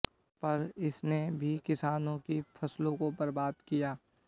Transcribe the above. पर इसने भी किसानों की फसलों को बर्बाद किया